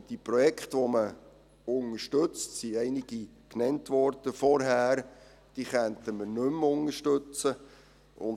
Aber diese Projekte, die man unterstützt – es wurden vorhin einige genannt –, könnten wir nicht mehr unterstützen;